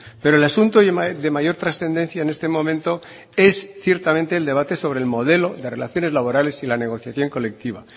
pero el asunto de mayor trascendencia en este momento es ciertamente el debate sobre el modelo de relaciones laborales y la negociación colectiva